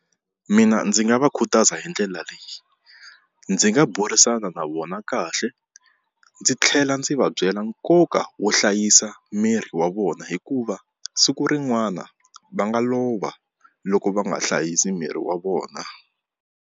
Mina ndzi nga va khutaza hi ndlela leyi ndzi nga burisana na vona kahle ndzi tlhela ndzi va byela nkoka wo hlayisa miri wa vona hikuva siku rin'wana va nga lova loko va nga hlayisi miri wa vona.